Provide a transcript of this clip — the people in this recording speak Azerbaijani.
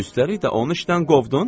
Üstəlik də onu işdən qovdun?